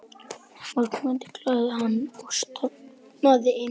Morgunmatur galaði hann og stormaði inn.